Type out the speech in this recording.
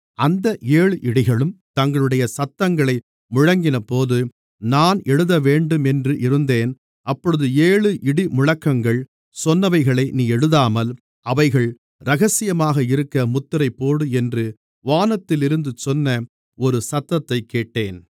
அந்த ஏழு இடிகளும் தங்களுடைய சத்தங்களை முழங்கினபோது நான் எழுதவேண்டுமென்று இருந்தேன் அப்பொழுது ஏழு இடிமுழக்கங்கள் சொன்னவைகளை நீ எழுதாமல் அவைகள் இரகசியமாக இருக்க முத்திரைபோடு என்று வானத்திலிருந்து சொன்ன ஒரு சத்தத்தைக் கேட்டேன்